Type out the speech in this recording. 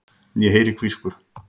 Ég heyri hvískur.